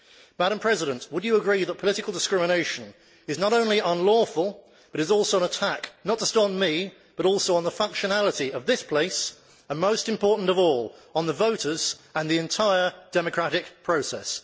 Madam President, would you agree that political discrimination is not only unlawful but is also an attack not just on me, but also on the functionality of this place and, most important of all, on the voters and the entire democratic process?